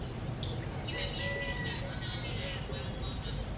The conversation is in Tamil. okay ma'am AC room வேணுமா non AC room வேணுமா ma'am